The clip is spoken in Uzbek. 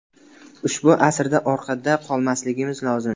Ushbu asrda orqada qolmasligimiz lozim.